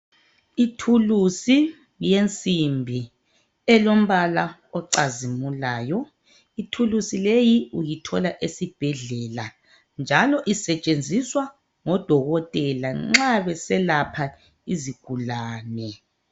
Ithulusi yensimbi elombala ocazimulayo. Ithulusi leyi uyithola esibhedlela. Njalo isetshenziswa ngodokotela nxa beselapha isigulane.